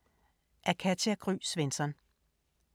Af Katja Gry Svensson